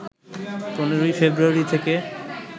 ১৫ই ফেব্রুয়ারি থেকে